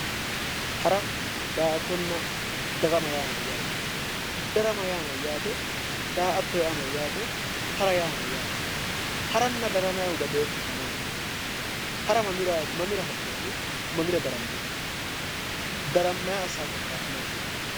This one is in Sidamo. Hara da'attona darama yaa mayyaate darama yaa mayyaate daa'atto yaa mayyaate hara yaa mayyaate haranna daramayihu badooshisi maati hara mamiraati mamira ha'nanni mamira darammanni darammayi assawo korkaati maati